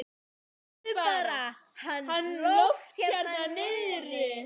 Sjáðu bara hann Loft hérna niðri.